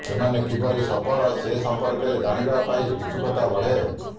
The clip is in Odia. ସେମାନେ କିପରି ସଫଳ ସେ ସଂପର୍କରେ ଜାଣିବା ପାଇଁ ଉତ୍ସୁକତା ବଢ଼େ